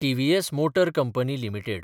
TVS motor company limited